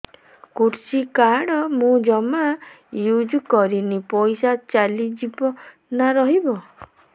କୃଷି କାର୍ଡ ମୁଁ ଜମା ୟୁଜ଼ କରିନି ପଇସା ଚାଲିଯିବ ନା ରହିବ